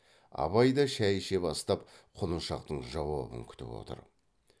абай да шай іше бастап құлыншақтың жауабын күтіп отыр